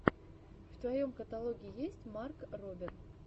в твоем каталоге есть марк робер